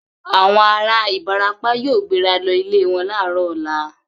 Àwọn ará Ìbàràpá yóò gbéra lọ ilẹ̀ wọn láàárọ̀ ọ̀la.